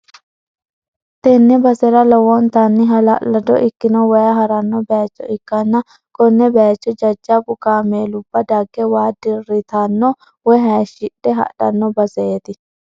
tenne basera lowontanni halallado ikkino waay ha'ranno bayicho ikkanna, konne bayicho jajjabbu kaameelubba dage waa dirritanno woy hayiishshidhe hadhanno baseeti.